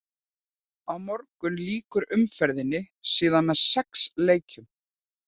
Á morgun lýkur umferðinni síðan með sex leikjum.